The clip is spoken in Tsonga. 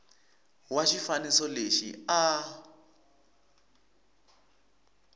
wa xifaniso lexi a a